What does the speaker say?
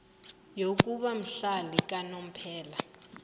yokuba mhlali kanomphela